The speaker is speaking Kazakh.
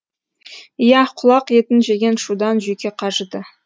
иә құлақ етін жеген шудан жүйке қажыды